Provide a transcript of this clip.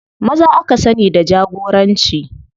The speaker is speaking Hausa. Maza aka sani da jagoranci.